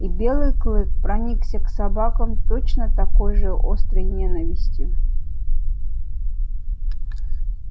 и белый клык проникся к собакам точно такой же острой ненавистью